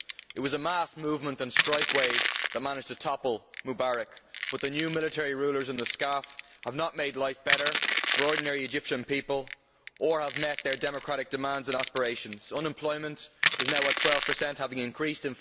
It was a mass movement and strike wave that managed to topple Mubarak, but the new military rulers in the SCAF have not made life better for ordinary Egyptian people or met their democratic demands and aspirations. Unemployment is now at 12, representing an increase